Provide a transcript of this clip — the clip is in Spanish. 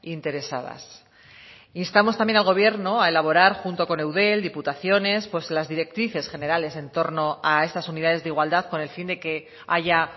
interesadas instamos también al gobierno a elaborar junto con eudel diputaciones las directrices generales en torno a estas unidades de igualdad con el fin de que haya